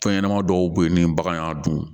Fɛn ɲɛnɛma dɔw bɛ yen ni bagan y'a dun